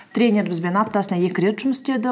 тренер бізбен аптасына екі рет жұмыс істеді